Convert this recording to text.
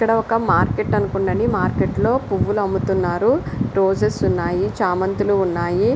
ఇక్కడ ఒక మార్కెట్ అనుకుంటా అండి. మార్కెట్లో పువ్వులు అమ్ముతున్నారు. రోజాస్ ఉన్నాయి. చామంతులు ఉన్నాయి.